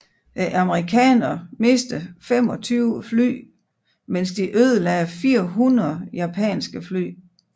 Amerikanerne mistede 25 fly mens de ødelagde 400 japanske fly